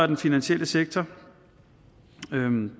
den finansielle sektor